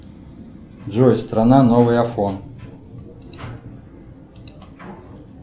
джой страна новый афон